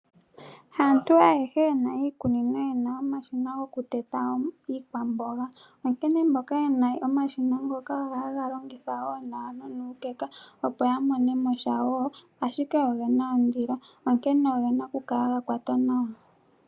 Haantu ayehe yena iikunino, yena omashina gokuteta iikwamboga. Onkene mboka yena omashina ngoka, ogo haya longitha nawa nonuukeka, opo yamonemosha wo, ashike ogena ondilo, onkene ogena okukala ga kwatwa nawa.